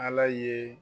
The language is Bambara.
Ala ye